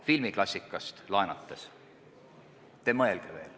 Filmiklassikast laenates: "Te mõelge veel.